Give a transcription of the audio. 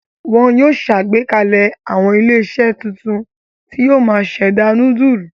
Wọn yóò ṣàgbékalẹ̀ àwọn ilé-iṣẹ́ tuntun tí yóò máa ṣẹ̀dá núdúlù.